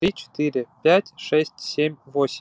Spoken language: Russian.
три четыре пять шесть семь восемь